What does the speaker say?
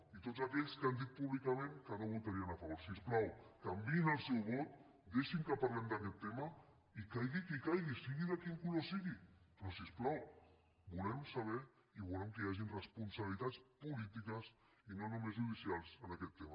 i a tots aquells que han dit públicament que no votarien a favor si us plau canviïn el seu vot deixin que parlem d’aquest tema i caigui qui caigui sigui del color que sigui però si us plau volem saber i volem que hi hagin responsabilitats polítiques i no només judicials en aquest tema